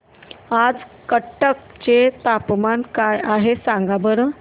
आज कटक चे तापमान काय आहे सांगा बरं